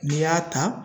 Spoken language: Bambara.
N'i y'a ta